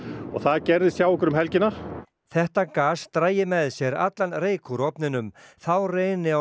og það gerðist hjá okkur um helgina þetta gas dragi með sér allan reyk úr ofninum þá reyni á